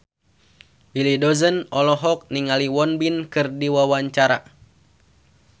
Willy Dozan olohok ningali Won Bin keur diwawancara